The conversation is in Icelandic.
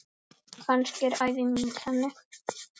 Kannski er ævi mín þannig.